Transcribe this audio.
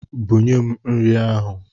Bunye m nri ahụ!